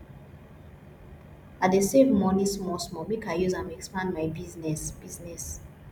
i dey save moni smallsmall make i use am expand my business business